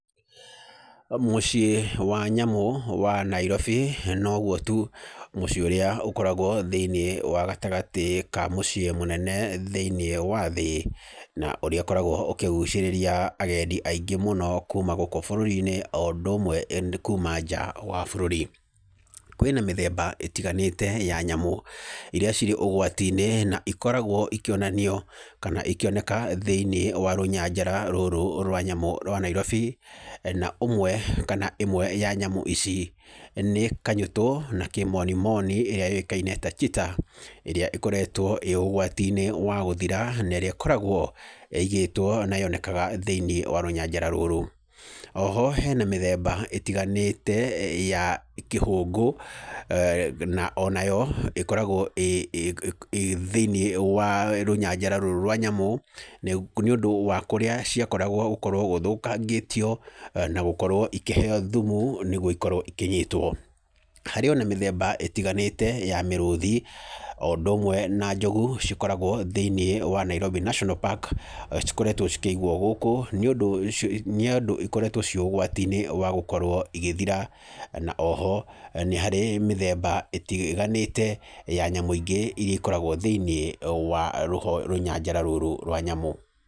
Mũciĩ wa nyamũ wa Nairobi noguo tu mũciĩ ũrĩa ũkoragwo thĩiniĩ wa gatagatĩ ka mũciĩ mũnene thĩiniĩ wa thĩ, na ũrĩa ũkoragwo ũkĩgucĩrĩria agendi aingĩ mũno kuma gũkũ bũrũri-inĩ o ũndũ ũmwe kuma nja wa bũrũri. Kwĩna mĩthemba ĩtiganĩte ya nyamũ irĩa cirĩ ũgwati-inĩ na ikoragwo ikĩonanio kana ikĩoneka thĩiniĩ wa rũnyanjara rũrũ rwa nyamũ rwa Nairobi. Na ũmwe kana ĩmwe ya nyamũ ici nĩ kanyũtũ na kĩmonimoni ĩrĩa yũĩkaine ta cheetah ĩrĩa ĩkoretwo ĩĩ ũgwati-inĩ wa gũthira, na ĩrĩa ĩkoragwo ĩigĩtwo na yonekaga thĩiniĩ wa rũnyanjara rũrũ. O ho hena mĩthemba ĩtiganĩte ya kĩhũngũ na ona yo ĩkoragwo ĩ thĩiniĩ wa rũnyanjara rũrũ rwa nyamũ. Nĩ ũndũ wa kũrĩa ciakoragwo gũkorwo gũthũkangĩtio, na gũkorwo ikĩheyo thumu nĩguo ikorwo ikĩnyitwo. Harĩ ona mĩthemba ĩtiganĩte ya mĩrũthi o ũndũ ũmwe na njogu cikoragwo thĩiniĩ wa Nairobi National Park cikoretwo cikĩigwo gũkũ nĩ ũndũ ikoretwo ciĩ ũgwati-inĩ wa gũkorwo igĩthira. Na oho nĩ harĩ mĩthemba ĩtiganĩte ya nyamũ ingĩ irĩa ikoragwo thĩiniĩ wa rũnyanjara rũrũ rwa nyamũ.